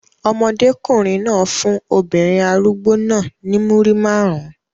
Ọmọdékùnrin náà fún obìnrin arúgbó náà ní Múrí márùn-ún.